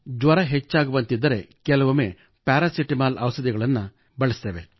ಜ್ವರ ಹೆಚ್ಚಾಗುವಂತಿದ್ದರೆ ಕೆಲವೊಮ್ಮೆ ಪ್ಯಾರಾಸಿಟಮಾಲ್ ಔಷಧಿ ಬಳಸುತ್ತೇವೆ